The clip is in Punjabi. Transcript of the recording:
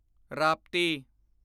ਰਾਪਤੀ